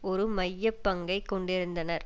ஒரு மைய பங்கை கொண்டிருந்தனர்